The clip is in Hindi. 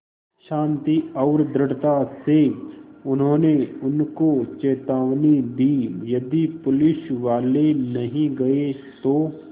शान्ति और दृढ़ता से उन्होंने उनको चेतावनी दी यदि पुलिसवाले नहीं गए तो